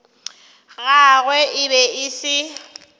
gagwe e be e se